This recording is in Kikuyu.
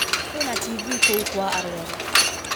Kwĩna tivii kũu kwa arwaru.